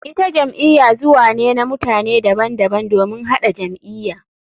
Ita jam'iya zuwa ne na mutane daban daban domin haɗa jam'iya.